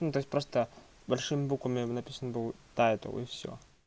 ну то есть просто большими буквами написано ну тайтл и всё